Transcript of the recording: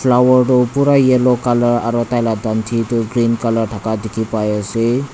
flower tu pura yellow colour aru tailaga tanthi tu green colour thaka dekhi pai ase.